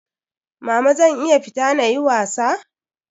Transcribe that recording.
Mama zan iya fita na yi was?